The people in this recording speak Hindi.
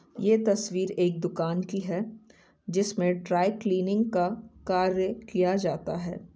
ये तस्वीर एक दुकान की है जिसमे ड्राइ क्लीनिंग का कार्य किया जाता है ।